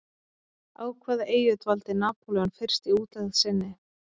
Á Hvaða eyju dvaldi Napóleon fyrst í útlegð sinni?